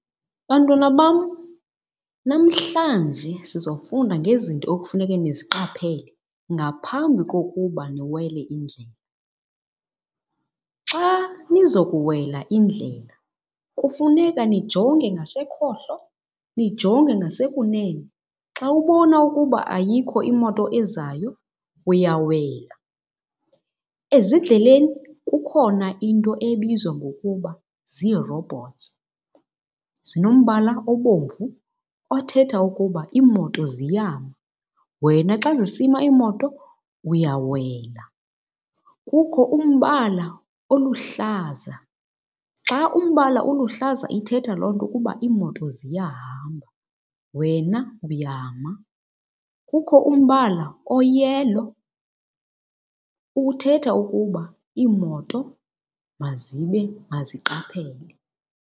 Bantwana bam, namhlanje sizofunda ngezinto ekufuneke niziqaphele ngaphambi kokuba niwele indlela. Xa nizokuwela indlela kufuneka nijonge ngasekhohlo nijonge ngasekunene. Xa ubona ukuba ayikho imoto ezayo uyawela. Ezindleleni kukhona into ebizwa ngokuba zii-robots, zinombala obomvu othetha ukuba iimoto ziyama. Wena xa zisima iimoto uyawela. Kukho umbala oluhlaza. Xa umbala uluhlaza ithetha loo nto ukuba iimoto ziyahamba, wena uyama. Kukho umbala oyelo, uthetha ukuba iimoto maziqaphele.